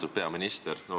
Austatud peaminister!